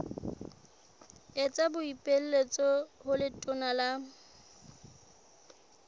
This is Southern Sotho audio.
etsa boipiletso ho letona la